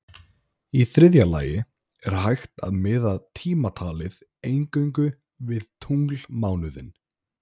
Í þriðja lagi er hægt að miða tímatalið eingöngu við tunglmánuðinn.